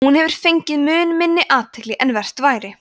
hún hefur fengið mun minni athygli en vert væri